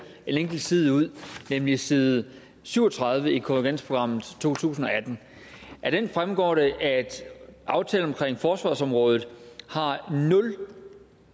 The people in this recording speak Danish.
en enkelt side ud nemlig side syv og tredive i konvergensprogram to tusind og atten af den fremgår det at aftalen omkring forsvarsområdet har nul